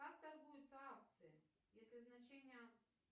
как торгуются акции если значения